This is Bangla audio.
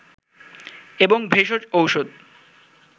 এবং ভেষজ ঔষধ